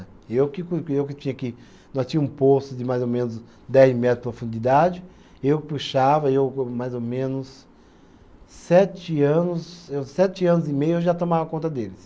Eu que cu, eu que tinha que, nós tínha um poço de mais ou menos dez metros de profundidade, eu puxava, eu co mais ou menos sete anos eu, sete anos e meio eu já tomava conta deles.